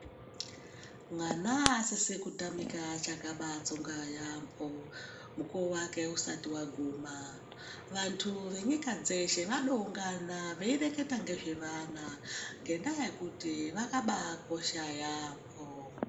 Mwana asisi kutamika achakatsonga yaambo, mukuvo vake usati vaguma. Vantu venyika dzeshe vanoungana veireketa ngezvevana ngendaa yekuti vakabakosha yaambo.